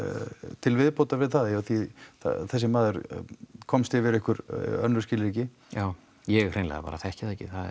til viðbótar við það af því að þessi maður komst yfir einhver önnur skilríki já ég hreinlega bara þekki það ekki það er